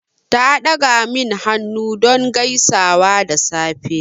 Ta ɗaga min hannu don gaisuwa da safe.